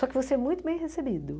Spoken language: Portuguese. Só que você é muito bem recebido.